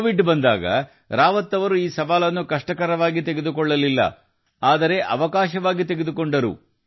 Covid ಬಂದಾಗ ರಾವತ್ ಜೀ ಈ ಸವಾಲನ್ನು ಕಷ್ಟವಾಗಿ ತೆಗೆದುಕೊಳ್ಳಲಿಲ್ಲ ಬದಲಿಗೆ ಅವಕಾಶವಾಗಿ ಬದಲಾಯಿಸಿದರು